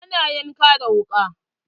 Ana yanka da wuka.